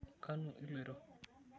Kanu iloito?